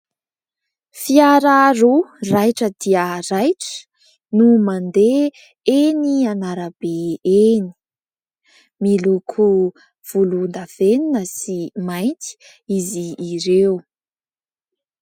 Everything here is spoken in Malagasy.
Fiara roa raitra dia raitra no mandeha eny an'arabe eny. Miloko volondavenona sy mainty izy ireo.